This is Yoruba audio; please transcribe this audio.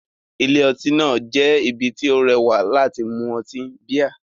Ilé-ọtí náà jẹ́ ibi tó rẹwà láti mu ọtí bíà